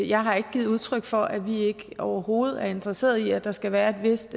jeg har ikke givet udtryk for at vi overhovedet ikke er interesseret i at der skal være et vist